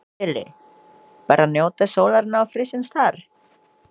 Lillý: Bara njóta sólarinnar og frísins þar?